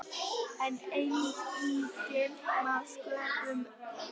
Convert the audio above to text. En enginn má sköpum renna.